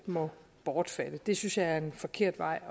må bortfalde det synes jeg er en forkert vej